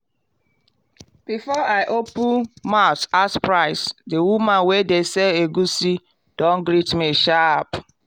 before i open mouth ask price the woman wey dey sell egusi don greet me sharp.